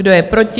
Kdo je proti?